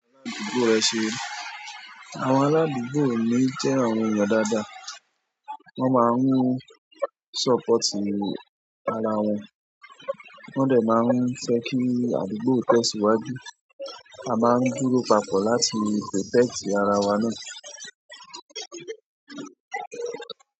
Àwọn aládùúgbò mi jẹ́ àwọn ènìyàn dáadáa. Wọ́n máa ń support ara wọn, wọ́n dẹ̀ má fẹ́ kí àdúgbò tẹ̀ sí wájú tí a bá ń dúró papọ̀ láti protect ara wa náà.